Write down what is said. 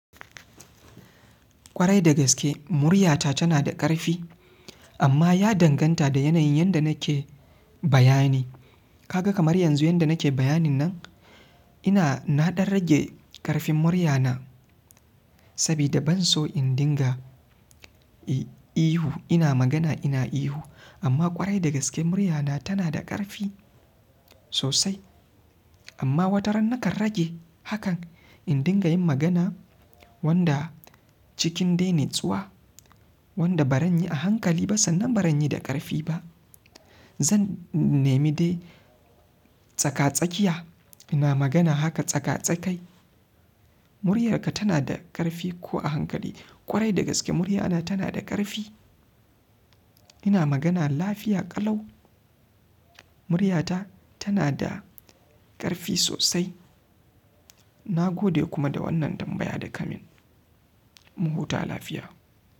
Kwarai da gaske muryata tana da ƙarfi amma ya danganta da yanayin yadda nake bayani. Ka ga kamar yanzu yadda nake bayanin nan ina nadan rage karfin murya na sabida banso in dinga ihu. Kwarai da gaske muryata tana da ƙarfi sosai amma wata ran nakan rage hakan in dinga yin magana wanda haka dai cikin natsuwa. Wanda bazan yi a hankali ba sannan bazan yi da karfi ba zan nemi dai tsaka tsakiya, ina magana haka tsaka tsakai muryar ka tana da ƙarfi ko a hankali kwarai da gaske muryana tanada ƙarfi ina magana da lafiya ƙalau muryata tanada ƙarfi sosai. Nagode kuma da wannan tambaya da kamin mu huta lafiya.